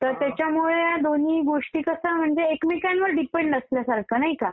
तर त्याच्यामुळे दोन्ही गोष्टी कसं एकमेकांवर डिपेंड असल्यासारखं आहे, नाही का?